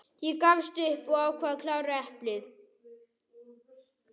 Ég gafst upp og ákvað að klára eplið.